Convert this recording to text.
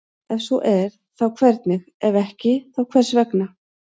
Ef svo er þá hvernig, ef ekki þá hvers vegna?